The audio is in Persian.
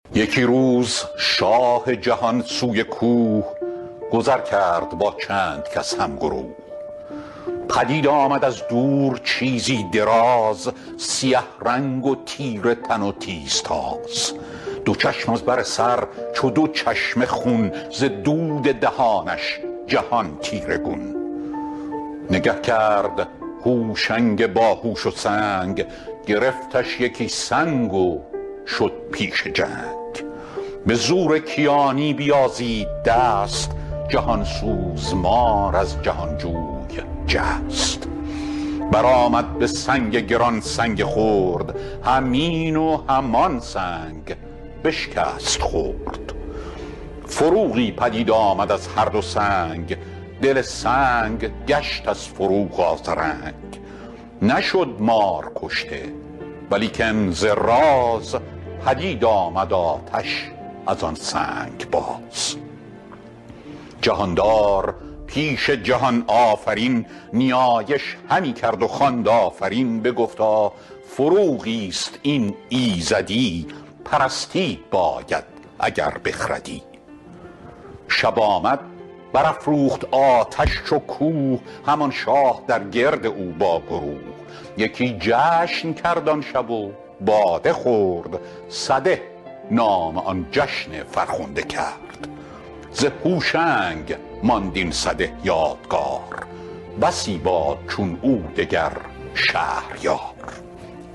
یکی روز شاه جهان سوی کوه گذر کرد با چند کس هم گروه پدید آمد از دور چیزی دراز سیه رنگ و تیره تن و تیز تاز دو چشم از بر سر چو دو چشمه خون ز دود دهانش جهان تیره گون نگه کرد هوشنگ باهوش و سنگ گرفتش یکی سنگ و شد تیز چنگ به زور کیانی رهانید دست جهان سوز مار از جهان جوی جست بر آمد به سنگ گران سنگ خرد همان و همین سنگ بشکست گرد فروغی پدید آمد از هر دو سنگ دل سنگ گشت از فروغ آذرنگ نشد مار کشته ولیکن ز راز از این طبع سنگ آتش آمد فراز جهاندار پیش جهان آفرین نیایش همی کرد و خواند آفرین که او را فروغی چنین هدیه داد همین آتش آنگاه قبله نهاد بگفتا فروغی است این ایزدی پرستید باید اگر بخردی شب آمد بر افروخت آتش چو کوه همان شاه در گرد او با گروه یکی جشن کرد آن شب و باده خورد سده نام آن جشن فرخنده کرد ز هوشنگ ماند این سده یادگار بسی باد چون او دگر شهریار کز آباد کردن جهان شاد کرد جهانی به نیکی از او یاد کرد